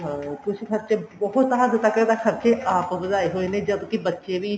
ਹਾਂ ਕੁੱਝ ਖਰਚੇ ਬਹੁਤ ਹੱਦ ਤੱਕ ਤਾਂ ਖਰਚੇ ਆਪ ਵਧਾਏ ਹੋਏ ਨੇ ਜਦ ਕੀ ਬੱਚੇ ਵੀ